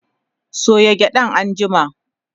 soya gyaɗan anjima!